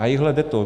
A ejhle, jde to.